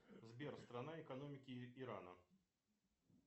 сбер страна экономики ирана